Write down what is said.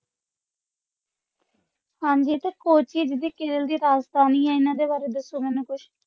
ਹਾਂਜੀ ਤੇ ਕੋਚੀ ਜਿਹੜੀ ਕੇਰਲ ਦੀ ਰਾਜਧਾਨੀ ਹੈ ਹਨ ਦੇ ਵਾਰੇ ਦਸੋ ਮੈਨੂੰ ਕੁਛ